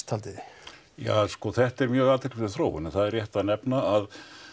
haldið þið ja sko þetta er mjög athyglisverð þróun en það er rétt að nefna að